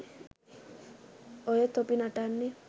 ඔය තොපි නටන්නෙ